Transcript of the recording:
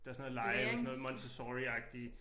Der sådan noget lege eller sådan noget Montessoriagtig